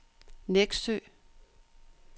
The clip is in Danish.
Nexø